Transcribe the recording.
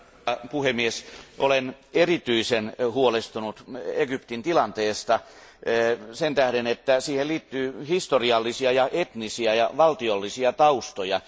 Arvoisa puhemies, olen erityisen huolestunut Egyptin tilanteesta sen tähden, että siihen liittyy historiallisia, etnisiä ja valtiollisia taustoja.